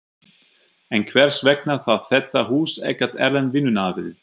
En hvers vegna þarf þetta hús ekkert erlent vinnuafl?